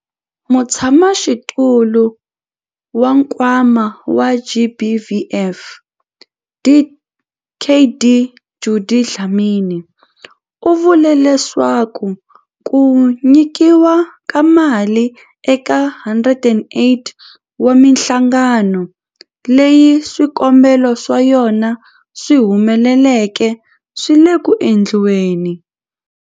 Mutshamaxitulu wa Nkwama wa GBVF, Dkd Judy Dlamini, u vule leswaku ku nyikiwa ka mali eka 108 wa mihlangano leyi swikombelo swa yona swi humeleleke swi le ku endliweni.